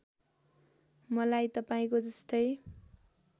मलाई तपाईँको जस्तै